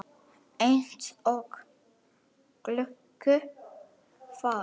Eins og gölluð vara.